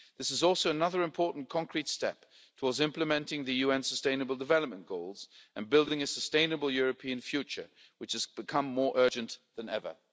This is also another important concrete step towards implementing the UN sustainable development goals and building a sustainable European future, which has become more urgent than ever.